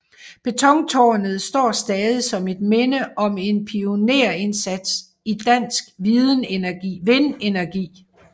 Betontårnet står stadig som et minde om en pionerindsats i dansk vindenergi